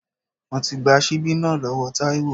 Mo gba síbí náà lọ́wọ́ Taiwo.